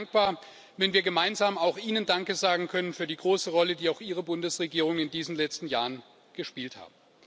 Ich wäre dankbar, wenn wir gemeinsam auch Ihnen Danke sagen können für die große Rolle, die auch Ihre Bundesregierung in diesen letzten Jahren gespielt habt.